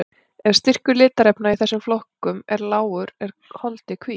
Ef styrkur litarefna í þessum flokkum er lágur er holdið hvítt.